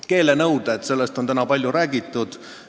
Keelenõuded – nendest on täna palju räägitud.